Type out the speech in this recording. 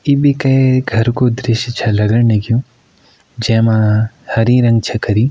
ई भी कै घर कु दृश्य छ लगण लग्युं जै मा हरी रंग छ करीं।